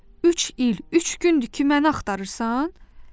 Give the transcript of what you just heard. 3 il, 3 gündür ki məni axtarırsan?